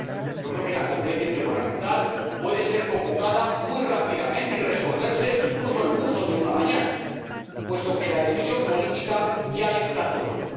Yo creo que la Conferencia Intergubernamental puede ser convocada muy rápidamente y resolverse incluso en el curso de una mañana, puesto que la decisión política ya está tomada.